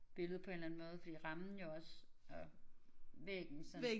Billede på en eller anden måde fordi rammen jo også og væggen sådan